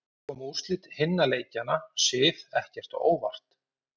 En komu úrslit hinna leikjanna Sif ekkert á óvart?